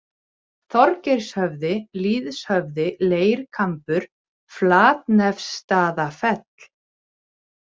Þorgeirshöfði, Lýðshöfði, Leirkambur, Flatnefsstaðafell